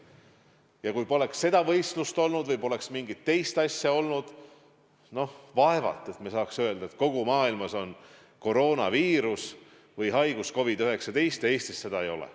Ja kui poleks seda võistlust peetud või poleks mingit teist üritust olnud – noh, vaevalt et me saaks öelda, et kogu maailmas on koroonaviirus või haigus COVID-19, aga Eestis seda ei ole.